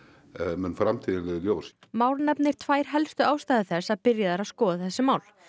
mun framtíðin leiða í ljós Már nefnir tvær helstu ástæður þess að byrjað er að skoða þessi mál